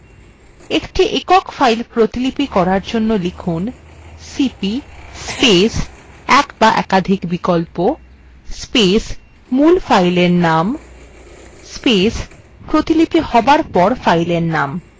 একটি একক file প্রতিলিপি করার জন্য লিখুন